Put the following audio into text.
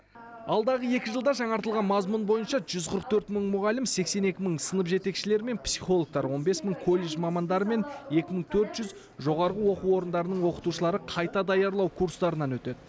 алдағы екі жылда жаңартылған мазмұн бойынша жүз қырық төрт мың мұғалім сексен екі мың сынып жетекшілері мен психологтар он бес мың колледж мамандары мен екі мың төрт жүз жоғарғы оқу орындарының оқытушылары қайта даярлау курстарынан өтеді